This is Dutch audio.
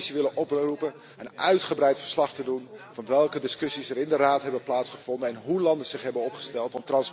Ik zou de Commissie willen oproepen uitgebreid verslag te doen van welke discussies er in de Raad hebben plaatsgevonden en hoe landen zich hebben opgesteld.